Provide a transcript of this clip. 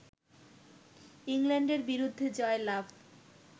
ইংল্যান্ডের বিরুদ্ধে জয়লাভ